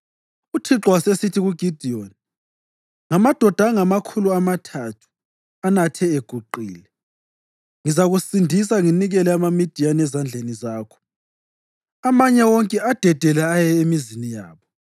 UThixo wasesithi kuGidiyoni, “Ngamadoda angamakhulu amathathu anathe equthile ngizakusindisa nginikele amaMidiyani ezandleni zakho. Amanye wonke adedele aye emizini yabo.”